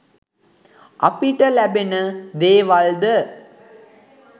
අපිට ලැබෙන දේවල්ද